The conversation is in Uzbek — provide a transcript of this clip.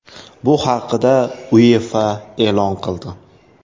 Bu haqida UEFA e’lon qildi .